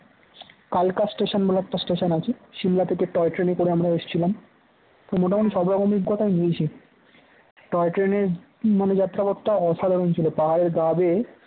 কালকা station বলে একটা station আছে৷ সিমলা থেকে toy ট্রেনে করে আমরা এসেছিলাম তো মোটামুটি সব রকমের অভিজ্ঞতা নিয়েছি, toy ট্রেনের মানে যাত্রা পথটা অসাধারণ ছিল পাহাড়ের গা বেয়ে